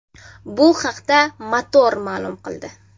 Bu haqda Motor ma’lum qildi .